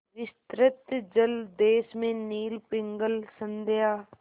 विस्तृत जलदेश में नील पिंगल संध्या